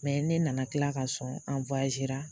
Mɛ ne nana kila ka sɔn